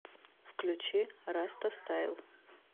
включи растастайл